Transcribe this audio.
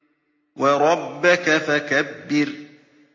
وَرَبَّكَ فَكَبِّرْ